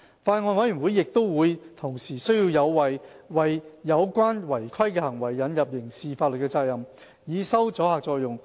法案委員會亦同意，有需要為有關違規行為引入刑事法律責任，以收阻嚇作用。